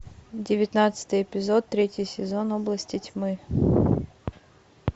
девятнадцатый эпизод третий сезон области тьмы